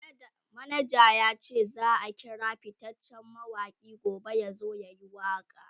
manaja yace zaa kira fittacen mawaki gobe yazo yayi waka